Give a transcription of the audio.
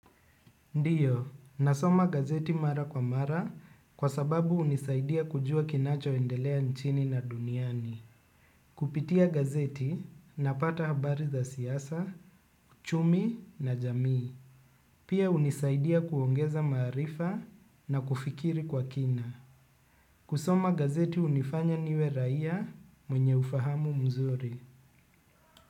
Ndiyo, nasoma gazeti mara kwa mara kwa sababu unisaidia kujua kinacho endelea nchini na duniani. Kupitia gazeti, napata habari za siyasa, uchumi na jamii. Pia unisaidia kuongeza maarifa na kufikiri kwa kina. Kusoma gazeti unifanya niwe raia mwenye ufahamu mzuri.